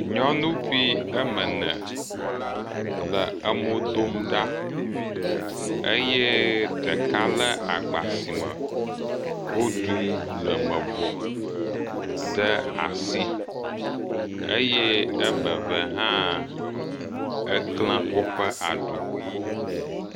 Nyɔnuvi eme ene le mo dom ɖa eye ɖeka le agba sime woɖu nu le me vɔ ɖe asi, eye eme ve hã woklẽ woƒe aɖu